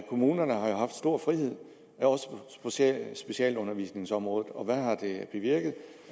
kommunerne har haft stor frihed også på specialundervisningsområdet og hvad har det bevirket